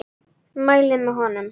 Mæli með honum.